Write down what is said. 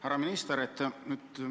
Härra minister!